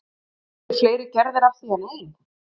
Eru til fleiri gerðir af því en ein?